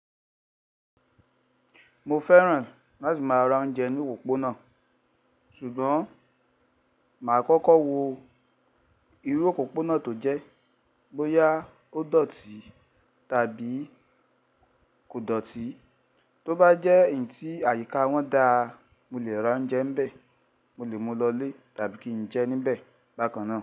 Mo fẹ́ràn láti máa ra oúnjẹ ní òpópónà. Ṣùgbọ́n máa kọ́kọ́ wo irú òpópónà tó jẹ́. Bóyá ó dọ̀tí tàbí kò dọ̀tí. Tó bá jẹ́ èyí tí àyíká wọn da, mo lè ra oúnjẹ nbẹ̀, mo lè mú lọ lé tàbí kí n jẹ níbẹ̀ bákan náà.